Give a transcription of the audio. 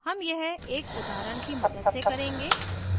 हम यह एक उदाहरण की मदद से करेंगे